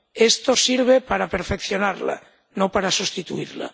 Esto sirve para perfeccionarla, no para sustituirla.